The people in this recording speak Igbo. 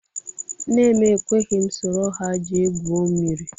Nne m ekweghị m soro ha jee gwuo mmiri